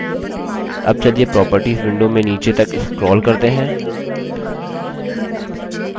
अब चलिए properties window में नीचे तक scroll करते हैं